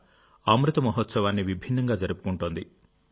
కూడా అమృత మహోత్సవాన్ని విభిన్నంగా జరుపుకుంటోంది